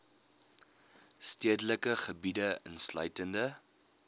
stedelike gebiede insluitende